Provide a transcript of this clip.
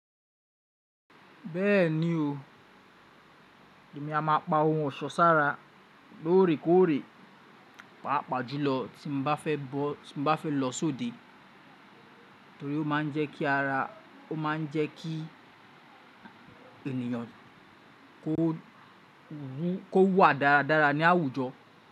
Bẹ́ẹ̀ni o, èmi a má pa ohun ọ̀ṣọ́ sára lóòrèkóòrè, paapaa júlọ tí mo bá fẹ́ lọ sóde torí ó ma ń jẹ́ kí eniyan ko kó wà dáradára ní àwùjọ.